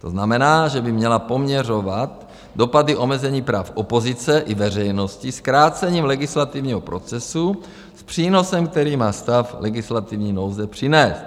To znamená, že by měla poměřovat dopady omezení práv opozice i veřejnosti zkrácením legislativního procesu s přínosem, který má stav legislativní nouze přinést.